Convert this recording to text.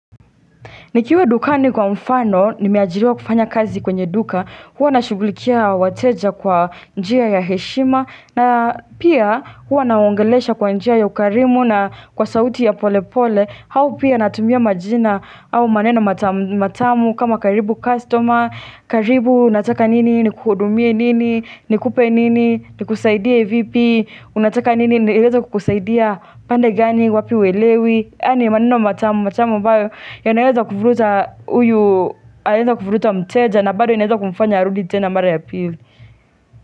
Nikiwa dukani kwa mfano, nimeajiriwa kufanya kazi kwenye duka, huwa na shugulikia wateja kwa njia ya heshima, na pia huwa nawaongelesha kwa njia ya ukarimu na kwa sauti ya pole pole, hau pia natumia majina au maneno matamu matamu kama karibu customer, karibu nataka nini, ni kuhudumie nini, ni kupe nini, ni kusaidie vipi, unataka nini, inaweza kukusaidia pande gani, wapi huelewi Ani maneno matamu, matamu ambayo yanaweza kuvruta uyu, inaweza kuvruta mteja Nabado inaweza kumfanya arudi tena mara ya pili.